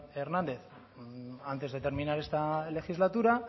hernández antes de terminar esta legislatura